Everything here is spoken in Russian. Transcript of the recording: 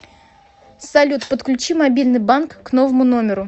салют подключи мобильный банк к новому номеру